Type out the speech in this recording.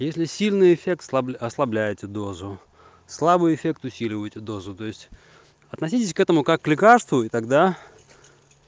если сильный эффект ослабляете дозу слабый эффект усиливаете дозу то есть относитесь к этому как к лекарству и тогда